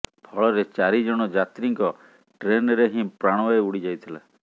ଫଳରେ ଚାରିଜଣ ଯାତ୍ରୀଙ୍କ ଟ୍ରେନ୍ରେ ହିଁ ପ୍ରାଣବାୟୁ ଉଡି ଯାଇଥିଲା